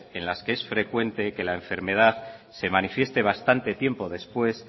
en las que es frecuente que la enfermedad se manifieste bastante tiempo después